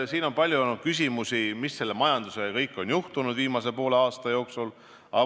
Siin on palju olnud küsimusi, mis selle majandusega kõik on juhtunud viimase poole aasta jooksul.